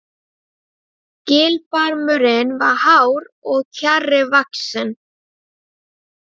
Gilbarmurinn var hár og kjarri vaxinn.